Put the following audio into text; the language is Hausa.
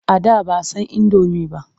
A da ba san indomi ba.